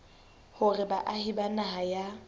hore baahi ba naha ya